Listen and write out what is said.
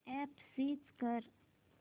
app search कर